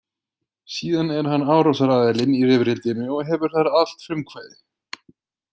Síðan er hann árásaraðilinn í rifrildinu og hefur þar allt frumkvæði.